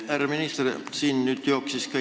Härra minister!